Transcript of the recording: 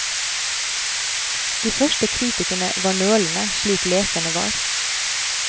De første kritikerne var nølende, slik leserne var.